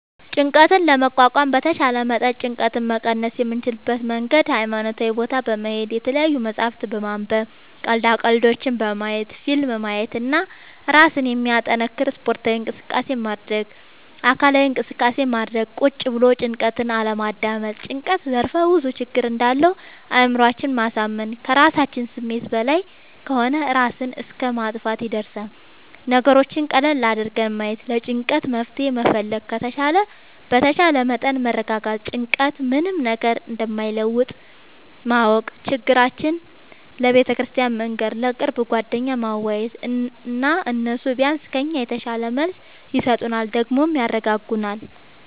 ጭንቀት ለመቋቋም በተቻለ መጠን ጭንቀት መቀነስ የምንችልበት መንገድ ሀይማኖታዊ ቦታ በመሄድ፣ የተለያዪ መፅሀፍት በማንበብ፣ ቀልዳ ቀልዶች በማየት፣ ፊልም ማየት እና እራስን የሚያጠነክር ስፓርታዊ እንቅስቃሴ ማድረግ። አካላዊ እንቅስቃሴ ማድረግ ቁጭ ብሎ ጭንቀትን አለማዳመጥ። ጭንቀት ዘርፍ ብዙ ችግር እንዳለው አእምሮአችን ማሳመን ከራሳችን ስሜት በላይ ከሆነ እራስን እስከ ማጥፍትም ይደርሳል። ነገሮችን ቀለል አድርጎ ማየት ለጭንቀቱ መፍትሄ መፈለግ በተቻለ መጠን መረጋጋት ጭንቀት ምንም ነገር እንደማይለውጥ ማወቅ ችግራችን ለቤተክርስቲያን መንገር፣ ለቅርብ ጓደኛ ማዋየት እና እነሱ ቢያንስ ከኛ የተሻለ መልስ ይሰጡናል ደግሞም ያረጋጉናል።